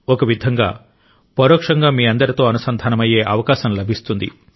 ఒక విధంగా పరోక్షంగా మీ అందరితో అనుసంధానమయ్యే అవకాశం లభిస్తుంది